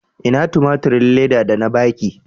Ina tumaturin Leda da na ba ki?